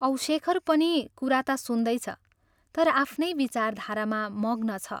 औ शेखर पनि कुरा ता सुन्दैछ, तर आफ्नै विचारधारामा मग्न छ।